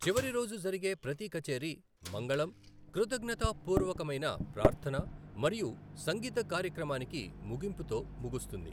చివరి రోజు జరిగే ప్రతి కచేరీ మంగళం, కృతజ్ఞతాపూర్వకమైన ప్రార్థన మరియు సంగీత కార్యక్రమానికి ముగింపుతో ముగుస్తుంది.